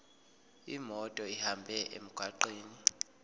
imoto ihambe emgwaqweni